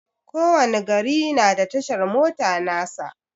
Ko wani gari na da tashar mota nasa.